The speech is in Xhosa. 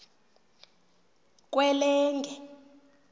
kwelenge